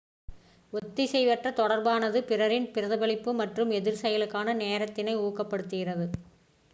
ஒத்திசைவற்ற தொடர்பானது பிறரின் பிரதிபலிப்பு மற்றும் எதிர்செயலுக்கான நேரத்தினை ஊக்கப்படுத்துகிறது